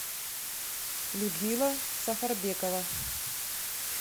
людмила сафарбекова